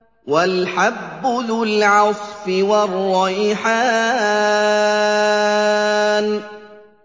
وَالْحَبُّ ذُو الْعَصْفِ وَالرَّيْحَانُ